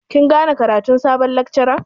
Kin gane ƙaratun sabon lakcaran?